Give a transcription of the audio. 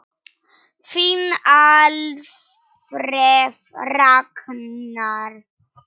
Þinn Alfreð Ragnar.